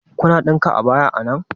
Kuna ɗinka abaya a nan?